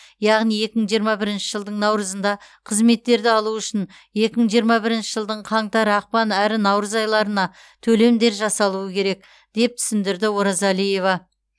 яғни екі мың жиырма бірінші жылдың наурызында қызметтерді алу үшін екі мың жиырма бірінші жылдың қаңтар ақпан әрі наурыз айларына төлемдер жасалуы керек деп түсіндірді оразалиева